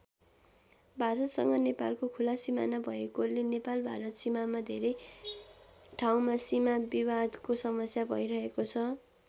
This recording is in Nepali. भारतसँग नेपालको खुला सिमाना भएकोले नेपाल भारत सिमामा धेरै ठाउँमा सिमा विवादको समस्या भइरहेको छ।